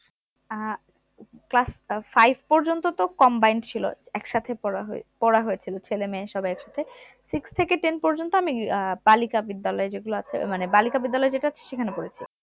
আহ class আহ five পর্যন্ত তো combined ছিল, একসাথে পড়া হয়ে~ পড়া হয়েছিল ছেলেমেয়ে সব একসাথে six থেকে ten পর্যন্ত আমি আহ বালিকা বিদ্যালয় যেগুলো আছে মানে বালিকা বিদ্যালয় যেটা আছে সেখানে পড়েছি